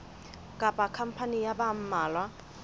kapa khampani ya ba mmalwa